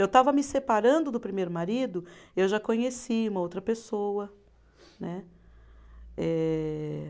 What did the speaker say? Eu estava me separando do primeiro marido, eu já conheci uma outra pessoa, né. Eh